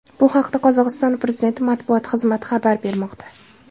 Bu haqda Qozog‘iston prezidenti matbuot xizmati xabar bermoqda .